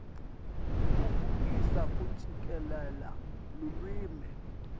tfutfukisa kucikelela lulwimi